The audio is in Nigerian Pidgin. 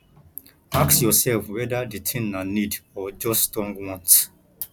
ask yourself whether the thing na need or just strong want